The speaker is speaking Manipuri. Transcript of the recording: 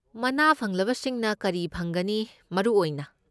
ꯃꯅꯥ ꯐꯪꯂꯕꯁꯤꯡꯅ ꯀꯔꯤ ꯐꯪꯒꯅꯤ, ꯃꯔꯨ ꯑꯣꯏꯅ?